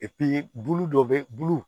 bulu dɔ bɛ bulu